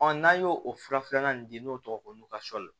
n'an y'o o fura filanan in di n'o tɔgɔ ye ko